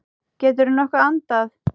Geturðu nokkuð andað?